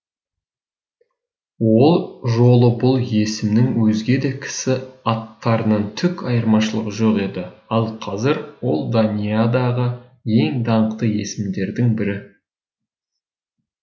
ол жолы бұл есімнің өзге де кісі аттарынан түк айырмашылығы жоқ еді ал қазір ол даниядағы ең даңқты есімдердің бірі